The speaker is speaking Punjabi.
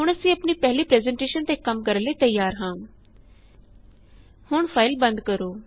ਹੁਣ ਅਸੀਂ ਆਪਣੀ ਪਹਿਲੀ ਪਰੈੱਜ਼ਨਟੇਸ਼ਨ ਤੇ ਕਮ ਕਰਨ ਲਈ ਤੈਯਾਰ ਹਾਂ ਹੁਣ ਫਾਇਲ ਬੰਦ ਕਰੋ